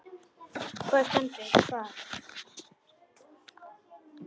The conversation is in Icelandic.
Hvar stendur það?